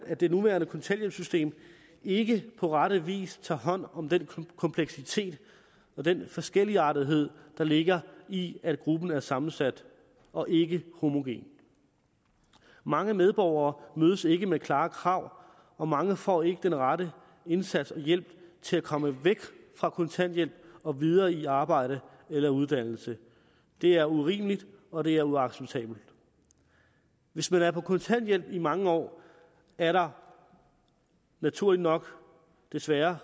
at det nuværende kontanthjælpssystem ikke på rette vis tager hånd om den kompleksitet og den forskelligartethed der ligger i at gruppen er sammensat og ikke homogen mange medborgere mødes ikke med klare krav og mange får ikke den rette indsats og hjælp til at komme væk fra kontanthjælp og videre i arbejde eller uddannelse det er urimeligt og det er uacceptabelt hvis man er på kontanthjælp i mange år er der naturligt nok desværre